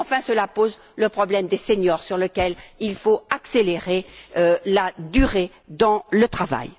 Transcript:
Enfin, cela pose le problème des seniors, sur lequel il faut accélérer la durée dans le travail.